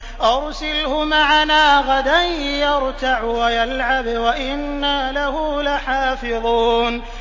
أَرْسِلْهُ مَعَنَا غَدًا يَرْتَعْ وَيَلْعَبْ وَإِنَّا لَهُ لَحَافِظُونَ